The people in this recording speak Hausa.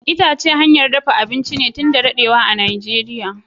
Itace hanyar dafa abinci ne tun da dadewa a najeria.